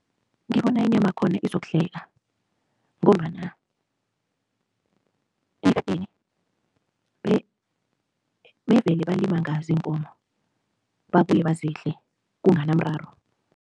Ngibona inyamakhona izokudleka ngombana ekadeni bevele balima ngazo iinkomo, babuye bazidle kunganamraro.